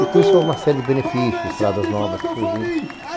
E com isso houve uma série de benefícios, estradas novas que surgiram.